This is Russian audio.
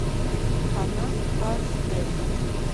фанат аш д